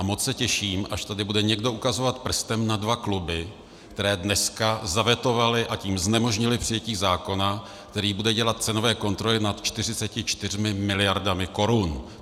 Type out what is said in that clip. A moc se těším, až tady bude někdo ukazovat prstem na dva kluby, které dneska zavetovaly, a tím znemožnily přijetí zákona, který bude dělat cenové kontroly nad 44 miliardami korun.